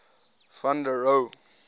van der rohe